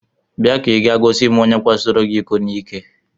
Bịa ka ị jee gosi m onye kwasoro gị iko n'ike!